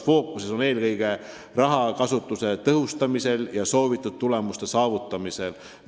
Fookus on eelkõige raha kasutamise tõhustamisel ja soovitud tulemuste saavutamisel.